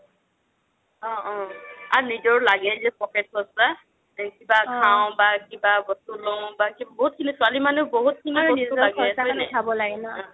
অহ অহ আৰু নিজৰ লাগেও pocket পা কিবা খাও বা কিবা বস্তু লও বা বহুত ছোৱালি মানুহ বহুত খিনি বস্তু লাগে হয় নাই